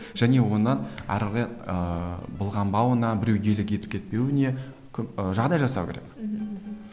және оны әрі қарай ыыы былғанбауына біреу иелік етіп кетпеуіне көп жағдай жасау керек мхм мхм